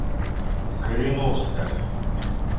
кореновска